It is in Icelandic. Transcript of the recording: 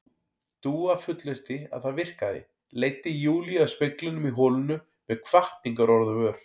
Dúa fullyrti að það virkaði, leiddi Júlíu að speglinum í holinu með hvatningarorð á vör.